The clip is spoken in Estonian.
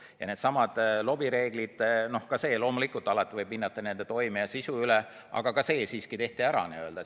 Ja needsamad lobireeglid – noh, loomulikult, alati võib hinnata nende toimet ja sisu, aga ka see siiski tehti ära.